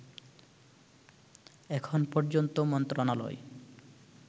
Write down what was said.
এখন পর্যন্ত মন্ত্রণালয়